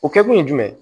O kɛkun ye jumɛn ye